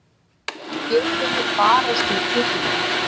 Getum við barist um titilinn?